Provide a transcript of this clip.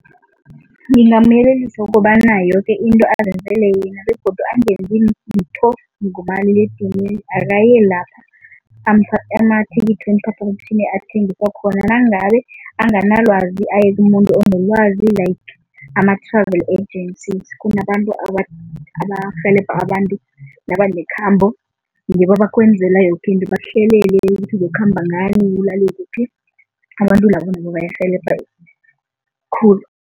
Ngingamyelelisa ukobana yoke into azenzele yena begodu angenzi litho ngomaliledinini, akaye la amathikithi weemphaphamtjhini athengiswa khona. Nangabe anganalwazi aye kumuntu onolwazi like ama-travel agencies, kunabantu abarhelebha abantu nabanekhambo ngibo abakwenzela yoke into bakuhlelele ukuthi uzokukhamba ngani, ulale kuphi, abantu labo nabo bayarhelebha khulu.